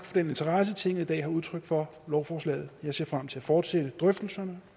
for den interesse tinget i dag har udtrykt for lovforslaget jeg ser frem til at fortsætte drøftelserne